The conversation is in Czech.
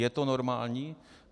Je to normální?